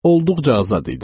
Olduqca azad idim.